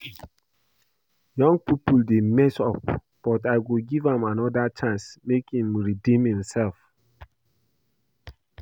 Young people dey mess up but I go give am another chance make im redeem himself